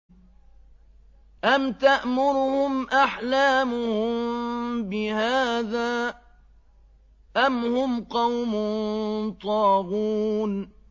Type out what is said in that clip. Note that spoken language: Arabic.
أَمْ تَأْمُرُهُمْ أَحْلَامُهُم بِهَٰذَا ۚ أَمْ هُمْ قَوْمٌ طَاغُونَ